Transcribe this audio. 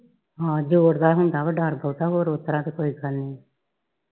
ਹਾਂ ਜੋੜ ਦਾ ਹੁੰਦਾ ਵਾ ਡਰ ਬਹੁਤਾ ਹੋਰ ਉਸ ਤਰ੍ਹਾਂ ਤੇ ਕੋਈ ਗੱਲ ਨਹੀ